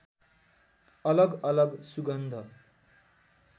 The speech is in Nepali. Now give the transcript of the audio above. अलग अलग सुगन्ध